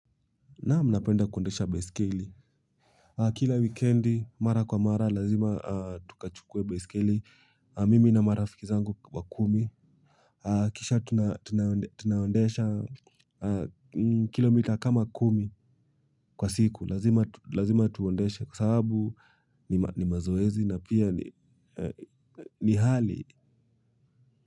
Naam napenda kuendesha baisikeli. Kila wikendi mara kwa mara lazima tukachukue baisikeli. Mimi na marafiki zangu wakumi. Kisha tunaendesha kilomita kama kumi kwa siku. Lazima tuendeshe kwa sababu ni mazoezi na pia ni hali.